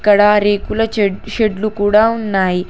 ఇక్కడ రేకుల చెడ్ షెడ్లు కూడా ఉన్నాయి.